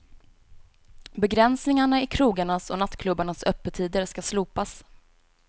Begränsningarna i krogarnas och nattklubbarnas öppettider ska slopas.